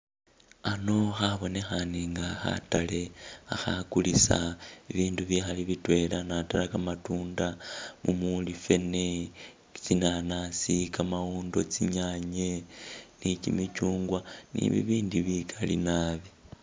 Ano khabonekhane nga khatale, khakhakulisa ibindu ibikhali bitwela nadala kamatunda mumuli fene tsinanasi , kamawondo tsinyanye ni kimichungwa ni bibindi bikaali naabi